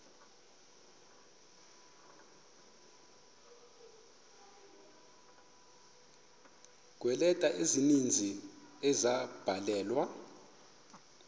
kweeleta ezininzi ezabhalelwa